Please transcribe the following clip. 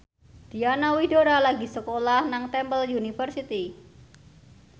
Diana Widoera lagi sekolah nang Temple University